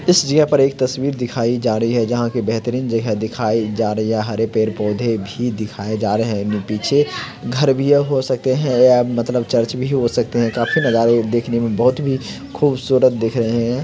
इस जगह पर एक तस्वीर दिखाई जा रही है जहा के बेहतरीन जगह दिखाए जा रहे है यह हरे पेड़-पौधे भी दिखाए जा रहे है पीछे घर भी है हो सकते है या मतलब चर्च भी हो सकते है काफी नजारे देखने में बहुत भी खूबसूरत दिख रहे है ।